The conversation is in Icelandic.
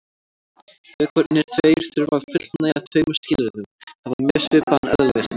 Vökvarnir tveir þurfa að fullnægja tveimur skilyrðum: Hafa mjög svipaðan eðlismassa.